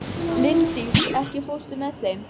Linddís, ekki fórstu með þeim?